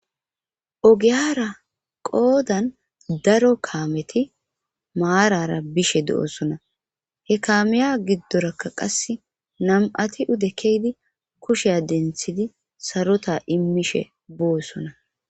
Ogiyara qoodan daro kaameti maarara bishe do'osona he kaameya giddorakka qase nam'ati ude keydi kushea denthidi sarota immishe boosona